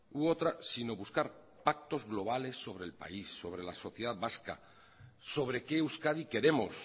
u otra sino buscar pactos globales sobre el país sobre la sociedad vasca sobre qué euskadi queremos